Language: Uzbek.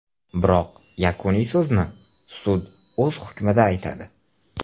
Biroq yakuniy so‘zni sud o‘z hukmida aytadi.